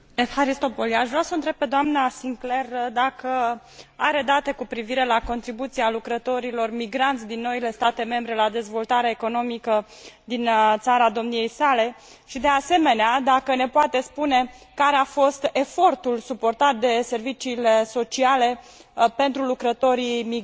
Aș vrea să o întreb pe doamna Sinclaire dacă are date cu privire la contribuția lucrătorilor migranți din noile state membre la dezvoltarea economică din țara domniei sale și, de asemenea, dacă ne poate spune care a fost efortul suportat de serviciile sociale pentru lucrătorii migranți.